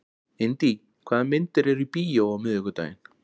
Indí, hvaða myndir eru í bíó á miðvikudaginn?